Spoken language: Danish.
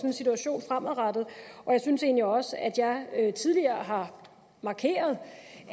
en situation fremadrettet og jeg synes egentlig også at jeg tidligere har markeret